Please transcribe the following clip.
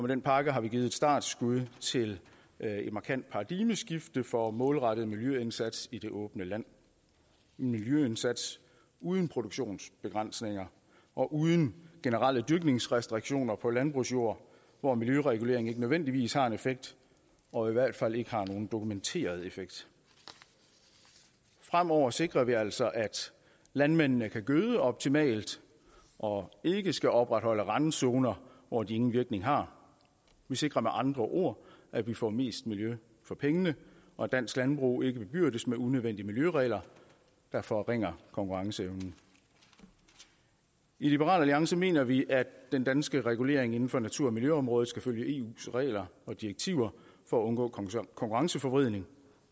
den pakke har vi givet et startskud til et markant paradigmeskifte for den målrettede miljøindsats i det åbne land en miljøindsats uden produktionsbegrænsninger og uden generelle dyrkningsrestriktioner på landbrugsjord hvor miljøregulering ikke nødvendigvis har en effekt og i hvert fald ikke har nogen dokumenteret effekt fremover sikrer vi altså at landmændene kan gøde optimalt og ikke skal opretholde randzoner hvor de ingen virkning har vi sikrer med andre ord at vi får mest miljø for pengene og at dansk landbrug ikke bebyrdes med unødvendige miljøregler der forringer konkurrenceevnen i liberal alliance mener vi at den danske regulering af natur og miljøområdet skal følge eus regler og direktiver for at undgå konkurrenceforvridning